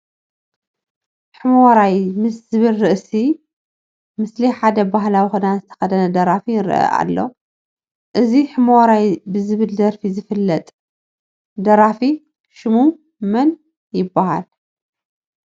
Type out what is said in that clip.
ሑመራይ ምስ ዝብል ርእሲ ምስሊ ሓደ ባህላዊ ክዳን ዝተኸደነ ደራፊ ይርአ ኣሎ፡፡ እዚ ሑመራይ ብዝብል ደራፉ ዝፍለጥ ደራፊ ሽሙ መን ይበሃል?